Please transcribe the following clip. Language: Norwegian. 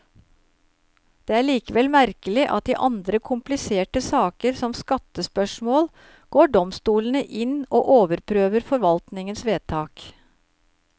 Det er likevel merkelig at i andre kompliserte saker, som skattespørsmål, går domstolene inn og overprøver forvaltningens vedtak.